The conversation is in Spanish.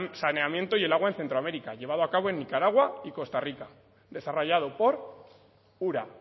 saneamiento del agua en centro américa llevado a cabo en nicaragua y costa rica desarrollado por ura